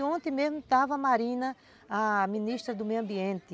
Ontem mesmo estava a Marina, a Ministra do Meio Ambiente.